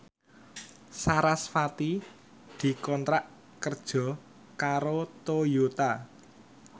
sarasvati dikontrak kerja karo Toyota